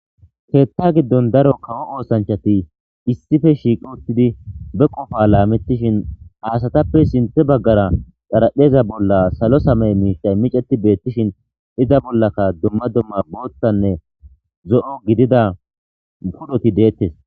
keetta giddon daro kawo oosanchati issife shiiqoottidi be qofa laamettishin aasatappe sinte baggara xarapheza bolla salo samey miitay miceti beettishin iza bollaka dumma dumma boottanne zo7o gidida pudoti deettes